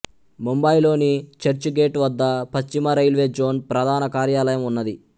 ముంబైలోని Churchgate railway zone రైల్వే జోన్ ప్రధాన కార్యాలయం ఉన్నది